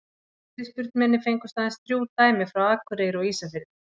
við fyrirspurn minni fengust aðeins þrjú dæmi frá akureyri og ísafirði